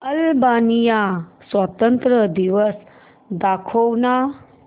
Albania स्वातंत्र्य दिवस दाखव ना